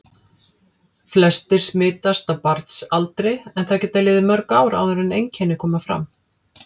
Flestir smitast á barnsaldri en það geta liðið mörg ár áður en einkenni koma fram.